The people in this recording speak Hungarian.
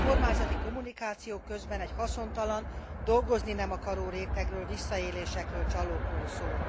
A kormányzati kommunikáció közben egy haszontalan, dolgozni nem akaró rétegről, visszaélésekről, csalókról szól.